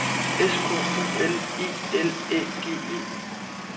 S K O L E L Æ G E